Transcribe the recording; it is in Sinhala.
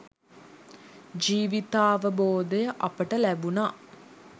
ජීවිතාවබෝධය අපට ලැබුනා.